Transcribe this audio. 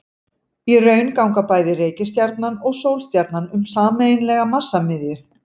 Í raun ganga bæði reikistjarnan og sólstjarnan um sameiginlega massamiðju.